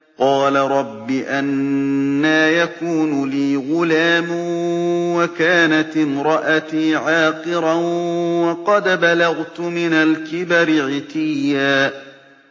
قَالَ رَبِّ أَنَّىٰ يَكُونُ لِي غُلَامٌ وَكَانَتِ امْرَأَتِي عَاقِرًا وَقَدْ بَلَغْتُ مِنَ الْكِبَرِ عِتِيًّا